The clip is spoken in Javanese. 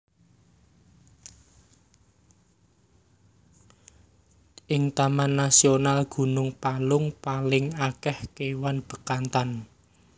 Ing Taman Nasional Gunung Palung paling akeh kewan Bekantan